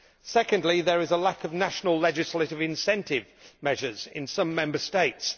Secondly, there is a lack of national legislative incentive measures in some Member States.